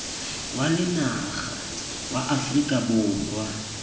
wa lenaga wa aforika borwa